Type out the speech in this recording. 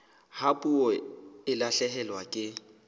ha puo e lahlehelwa ke